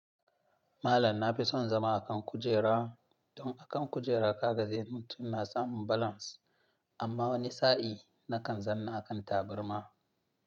Malam na fi son zama akan kujera. Don akan kujera ka ga zai mutum na samun balance amma wani sa'in na kan zanna akan tabarma.